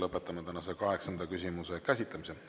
Lõpetame tänase kaheksanda küsimuse käsitlemise.